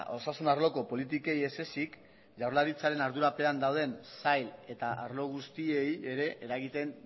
osasun arloko politikei ezezik jaurlaritzaren ardurapean dauden sail eta arlo guztiei ere eragiten